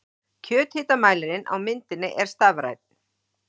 Kjöthitamælirinn á myndinni er stafrænn.